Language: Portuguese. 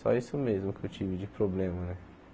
Só isso mesmo que eu tive de problema né.